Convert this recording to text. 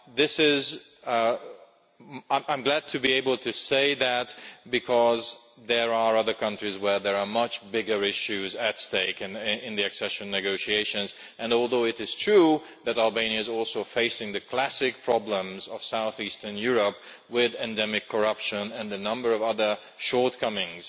I am glad to be able to say that, because there are other countries for which there are much bigger issues at stake in the accession negotiations. Although it is true that Albania is also facing the classic problems of south-eastern Europe, with endemic corruption and a number of other shortcomings